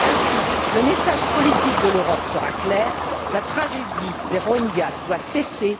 Ainsi, le message politique de l'Europe sera clair la tragédie des Rohingyas doit cesser.